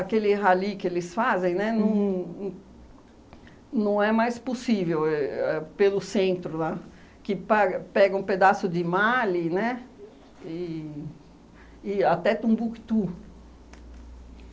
Aquele rally que eles fazem, né, não n não é mais possível, éh pelo centro lá, que paga pega um pedaço de Mali, né, e e até Tombuctu.